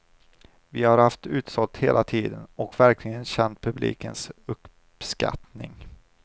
Vi har haft utsålt hela tiden och verkligen känt publikens uppskattning.